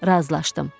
Razılaşdım.